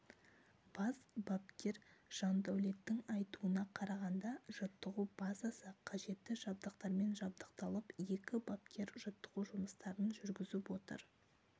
бас бапкер жандаулеттің айтуына қарағанда жаттығу базасы қажетті жабдықтармен жабдықталып екі бапкер жаттығу жұмыстарын жүргізіп отыр